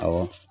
Awɔ